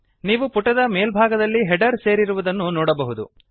ನೀವು ಪುಟದ ಮೇಲ್ಭಾಗದಲ್ಲಿ ಹೆಡರ್ ಸೇರಿರುವುದನ್ನು ನೋಡಬಹುದು